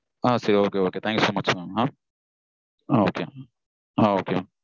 ah thank you sir